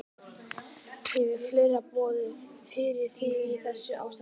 Hvað hefur fleira borið fyrir þig í þessu ástandi?